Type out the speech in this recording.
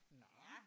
Nå